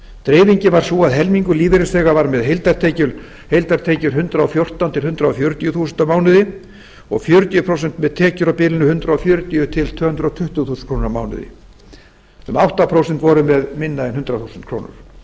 dreifingin var sú að helmingur lífeyrisþega var með heildartekjur hundrað og fjórtán til hundrað fjörutíu þúsund krónur á mánuði og fjörutíu prósent með tekjur á bilinu hundrað fjörutíu til tvö hundruð tuttugu þúsund krónur á mánuði um átta prósent voru með minna en hundrað þúsund krónur